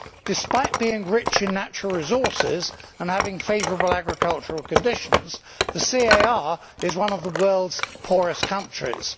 Despite being rich in natural resources and having favourable agricultural conditions, the CAR is one of the world's poorest countries.